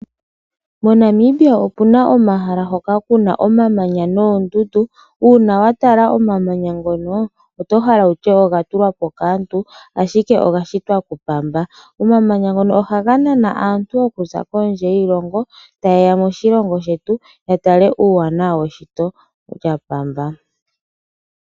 MoNamibia opuna omahala hoka kuna omamanya noondundu, una wa tala omamanya ngono otohala wutye oga tulwapo kaantu ashike oga shitwa kuPamba. Omamanya ngono ohaga naana aantu okuza kondje yiilongo, tayeya moshilongo shetu ya tale uuwanawa weshito lyaPamba.